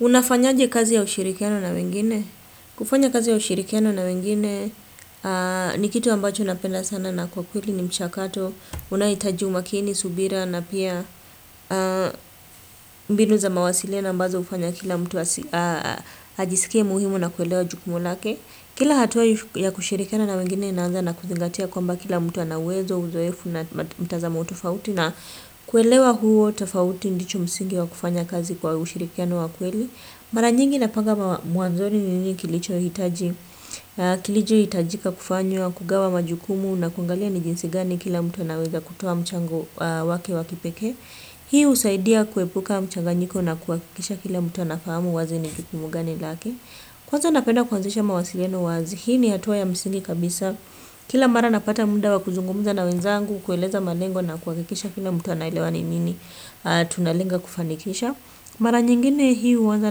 Unafanyaje kazi ya ushirikiano na wengine? Kufanya kazi ya ushirikiano na wengine ni kitu ambacho napenda sana na kwa kweli ni mchakato. Unaohitaji umakini, subira na pia mbinu za mawasiliano ambazo hufanya kila mtu ajisikie muhimu na kuelewa jukumu lake. Kila hatua ya kushirikiana na wengine inaanza na kuzingatia kwamba kila mtu ana uwezo uzoefu na mtazamo tofauti na kuelewa huo tofauti ndicho msingi wa kufanya kazi kwa ushirikiano wa ikweli. Mara nyingi napanga mwanzoni ni nini kilichohitaji, kilichohitajika kufanywa, kugawa majukumu na kuangalia nijinsi gani kila mtu anaweza kutoa mchango wake wakipeke. Hii husaidia kuepuka mchanganyiko na kuhakikisha kila mtu anafahamu ni jukumu gani lake. Kwaza napenda kuanzisha mawasiliano wazi, hii ni hatua ya msingi kabisa. Kila mara napata muda wa kuzungumuza na wenzangu, kueleza malengo na kuhakikisha kila mtu anaelewa ni nini tunalenga kufanikisha. Mara nyingine hii huanza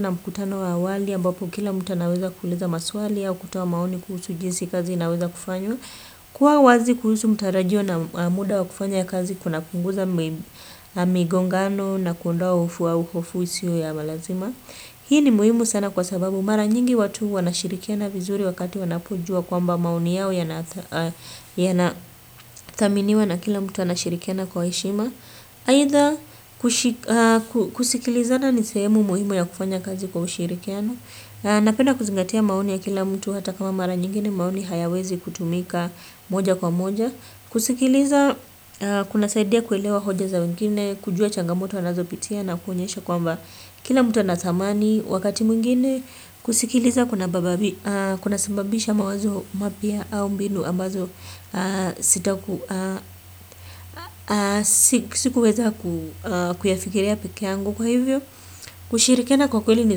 na mkutano wa awali ambapo kila mtu anaweza kuuliza maswali au kutoa maoni kuhusu jinsi kazi inaweza kufanywa. Kuwa wazi kuhusu mtarajio na muda wa kufanya kazi kuna punguza migongano na kuondoa ufua hofu isiyo ya lazima. Hii ni muhimu sana kwa sababu mara nyingi watu wanashirikiana vizuri wakati wanapojua kwamba maoni yao yanathaminiwa na kila mtu anashirikiana kwa heshima. Aidha kusikilizana ni sehemu muhimu ya kufanya kazi kwa ushirikiano. Napenda kuzingatia maoni ya kila mtu hata kama mara nyingine maoni hayawezi kutumika moja kwa moja. Kusikiliza kunasaidia kuelewa hoja za wengine kujua changamoto wanazopitia na kuonyesha kwamba kila mtu anathamani wakati mwengine kusikiliza kunasababisha mawazo mapya ama mbinu ambazo zita sikuweza ku kuyafikiria peke yangu kwa hivyo kushirikiana kwa kweli ni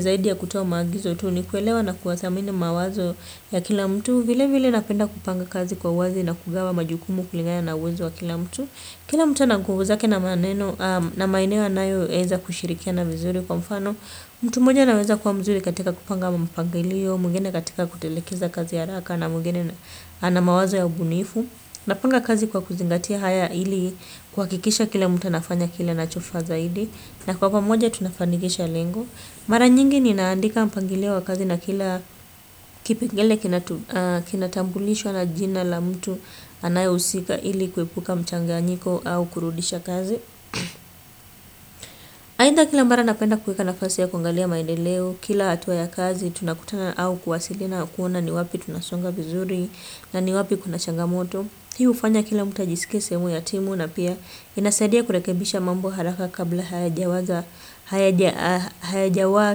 zaidi ya kutoa maagizo tu ni kuelewa na kuyathamini mawazo ya kila mtu vile vile napenda kupanga kazi kwa uwazi na kugawa majukumu kuligana na uwezo wa kila mtu. Kila mtu ana nguvu zake na maeneo anayoweza kushirikiana mzuri kwa mfano. Mtu mmoja anaweza kuwa mzuri katika kupanga mpangilio, mwengine katika kutelekeza kazi ya haraka na mwengine ana mawazo ya ubunifu. Napanga kazi kwa kuzingatia haya ili kuhakikisha kila mtu anafanya kile anacho faa zaidi. Na kwa pamoja tunafanikisha lengo. Mara nyingi ninaandika mpangilio wa kazi na kila kipengele kinatambulishwa na jina la mtu anaye husika ili kuepuka mchanganyiko au kurudisha kazi. Aidhaa kila mara napenda kuweka nafasi ya kuangalia maendeleo kila hatua ya kazi tunakutana au kuwasiliana kuona ni wapi tunasonga vizuri na ni wapi kuna changamoto hii hufanya kila mtu ajisike sehemu ya timu na pia inasadia kurekebisha mambo haraka kabla hayajawaza hayajawaa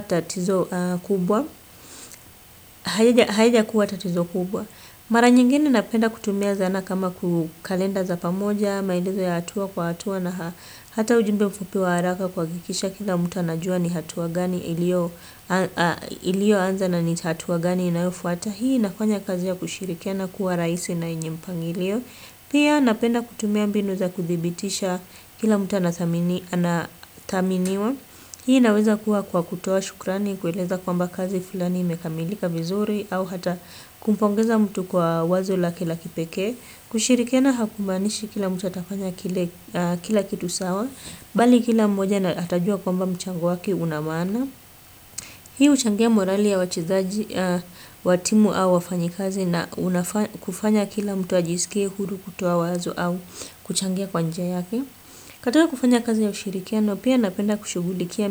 tatizo kubwa hayajakuwa tatizo kubwa mara nyingine napenda kutumia zana kama ku kalenda za pamoja maendeleo ya hatua kwa hatua na hata ujumbe mfupi wa haraka kuhakikisha kila mtu anajua ni hatua gani iliyoanza na ni hatua gani inayofuata hii inafanya kazi ya kushirikiana kuwa rahisi na yenye mpangilio pia napenda kutumia mbinu za kuthibitisha kila mtu anthaminiwa hii inaweza kuwa kwa kutoa shukrani kueleza kwamba kazi fulani imekamilika vizuri au hata kumpongeza mtu kwa wazo lake la kipekee kushirikiana hakumaanishi kila mtu atafanya kila kitu sawa bali kila mmoja na atajua kwamba mchango wake unamaana hii huchangia morali ya wachezaji wa timu au wafanyikazi na kufanya kila mtu ajisikie huru kutoa wazo au kuchangia kwa njia yake katika kufanya kazi ya ushirikiano pia napenda kushughulikia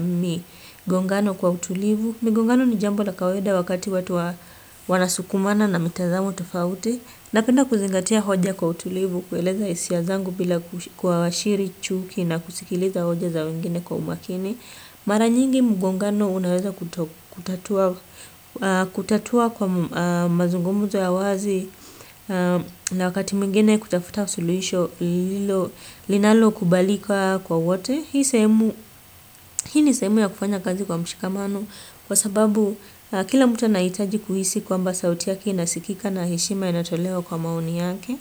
migongano kwa utulivu migongano ni jambo na kawaida wakati watu wanasukumana na mitazamo tofauti. Napenda kuzingatia hoja kwa utulivu, kueleza hisia zangu bila kuashiri chuki na kusikiliza hoja za wengine kwa umakini. Mara nyingi mgongano unaweza kutatua kwa mazungumuzo ya wazi na wakati mwingine kutafuta suluhisho linalo kubalika kwa wote. Hii ni sehemu ya kufanya kazi kwa mshikamano kwa sababu kila mtu anahitaji kuhisi kwamba sauti yaki inasikika na heshima inatolewa kwa maoni yake.